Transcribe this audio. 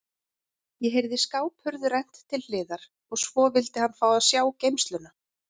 Ég heyrði skáphurð rennt til hliðar og svo vildi hann fá að sjá geymsluna.